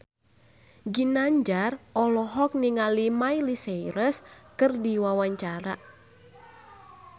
Ginanjar olohok ningali Miley Cyrus keur diwawancara